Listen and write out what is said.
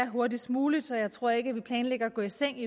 hurtigst muligt og jeg tror ikke at vi planlægger at gå i seng